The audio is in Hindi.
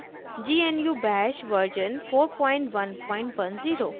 * gnu bash version 4110